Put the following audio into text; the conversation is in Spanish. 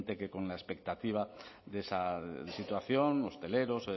que con la expectativa de esa situación hosteleros